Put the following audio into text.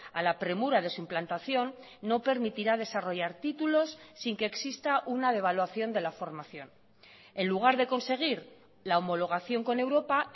a la premura de su implantación no permitirá desarrollar títulos sin que exista una devaluación de la formación en lugar de conseguir la homologación con europa